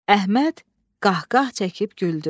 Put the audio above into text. Əhməd qah-qah çəkib güldü.